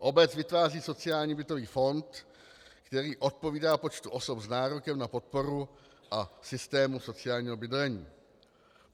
Obec vytváří sociální bytový fond, který odpovídá počtu osob s nárokem na podporu a systému sociálního bydlení.